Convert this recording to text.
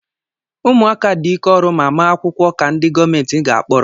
Ụmụaka dị ike ọrụ ma maa akwụkwọ ka ndị gọọmenti ga-akporo